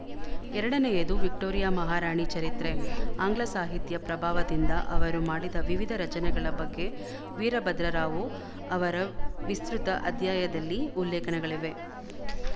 ಎರಡನೆಯದು ವಿಕ್ಟೋರಿಯಾ ಮಹಾರಾಣಿ ಚರಿತ್ರೆ ಆಂಗ್ಲ ಸಾಹಿತ್ಯ ಪ್ರಭಾವದಿಂದ ಅವರು ಮಾಡಿದ ವಿವಿಧ ರಚನೆಗಳ ಬಗ್ಗೆ ವೀರಭದ್ರರಾವು ಅವರ ವಿಸ್ತೃತ ಅಧ್ಯಾಯದಲ್ಲಿ ಉಲ್ಲೇಖನಗಳಿವೆ